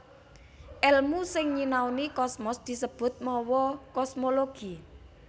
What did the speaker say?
Èlmu sing nyinaoni kosmos disebut mawa kosmologi